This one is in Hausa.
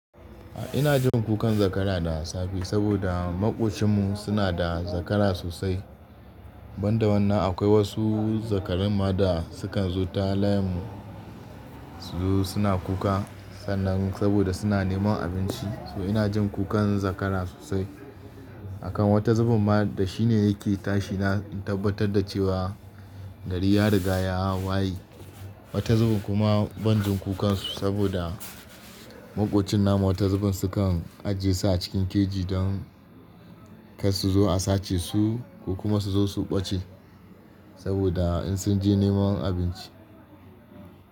Ina jin kukan zakara da safe saboda maƙocinmu suna da zakara sosai. Ban da wannan akwai wasu zakarun ma da sukan zo ta layinmu suzo suna kuka, sannan saboda suna neman abinci. So ina jin kukan zakara sosai. Akan wata zubin ma da shi ne yake tashi na tabbatar da cewa gari ya riga ya waye. Wata zubin kuma ban jin kukansu saboda maƙocin namu wata zubin sukan ajiye su a cikin keji don kar su zo a sace su ko kuma su zo su ɓace saboda in sun je neman abinci.